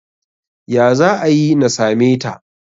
ya za a yi na same ta?